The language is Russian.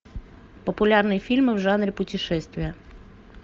популярные фильмы в жанре путешествие